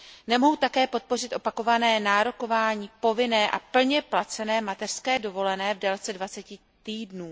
Nemohu také podpořit opakované nárokování povinné a plně placené mateřské dovolené v délce dvaceti týdnů.